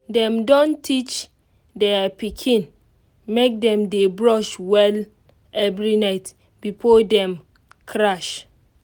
dem don teach their pikin make dem dey brush well every night before dem crash. um